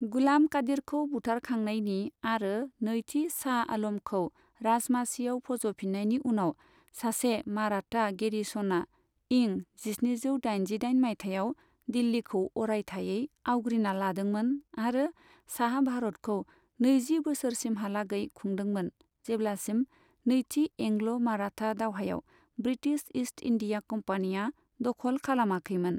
गुलाम कादिरखौ बुथारखांनायनि आरो नैथि साह आलमखौ राजमासियाव फज'फिननायनि उनाव, सासे माराता गेरिस'ना इं जिस्निजौ दाइनजिदाइन माइथायाव दिल्लिखौ अरायथायै आवग्रिना लादोंमोन आरो साहा भारतखौ नैजि बोसोरसिमहालागै खुंदोंमोन जेब्लासिम नैथि एंग्ल' माराता दावहायाव ब्रिटिश ईस्ट इन्डिया कम्पानिया दख'ल खालामाखैमोन।